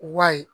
Wa ye